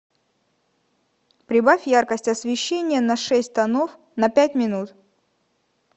прибавь яркость освещения на шесть тонов на пять минут